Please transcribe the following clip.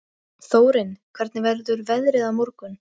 Þórinn, hvernig verður veðrið á morgun?